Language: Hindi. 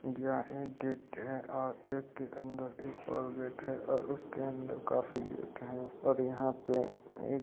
या एक गेट है और इसके अन्दर एक और गेट है और उसके अन्दर काफी गेट हैं और यहाँ पे ए --